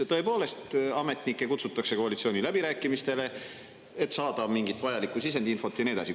Tõepoolest, ametnikke kutsutakse koalitsiooniläbirääkimistele, et saada mingit vajalikku sisendinfot ja nii edasi.